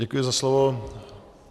Děkuji za slovo.